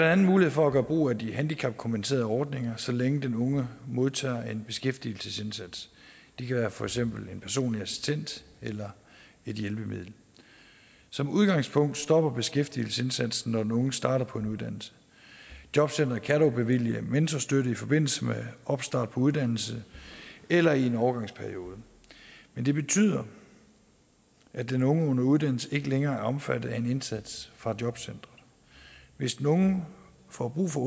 andet mulighed for at gøre brug af de handicapkompenserende ordninger så længe den unge modtager en beskæftigelsesindsats det kan for eksempel være en personlig assistent eller et hjælpemiddel som udgangspunkt stopper beskæftigelsesindsatsen når den unge starter på en uddannelse jobcenteret kan dog bevilge mentorstøtte i forbindelse med opstart på en uddannelse eller i en overgangsperiode men det betyder at den unge under uddannelse ikke længere er omfattet af en indsats fra jobcenteret hvis den unge får brug for